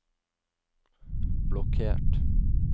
blokkert